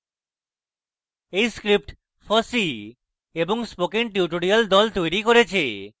এই script fossee এবং spoken tutorial the তৈরী করেছে